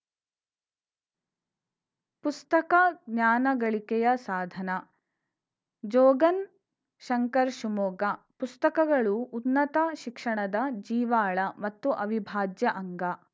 ಪುಸ್ತಕ ಜ್ಞಾನಗಳಿಕೆಯ ಸಾಧನ ಜೋಗನ್‌ ಶಂಕರ್‌ ಶಿವಮೊಗ್ಗ ಪುಸ್ತಕಗಳು ಉನ್ನತ ಶಿಕ್ಷಣದ ಜೀವಾಳ ಮತ್ತು ಅವಿಭಾಜ್ಯ ಅಂಗ